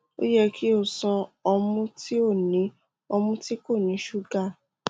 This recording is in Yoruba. o yẹ ki o ṣan ọmu ti o ni ọmu ti ko ni suga